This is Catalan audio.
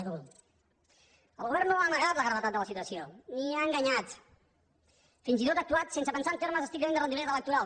el govern no ha amagat la gravetat de la situació ni ha enganyat fins i tot ha actuat sense pensar en termes estrictament de rendibilitat electoral